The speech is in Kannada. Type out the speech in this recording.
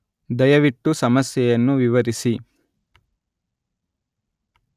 ದಯವಿಟ್ಟು ಸಮಸ್ಯೆಯನ್ನು ವಿವರಿಸಿ